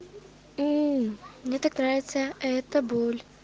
мне так нравится эта боль